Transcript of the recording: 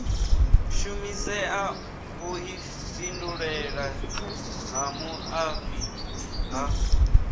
shumisea vhuifhinduleli ha muaifa ha